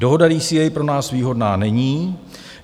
Dohoda DCA pro nás výhodná není.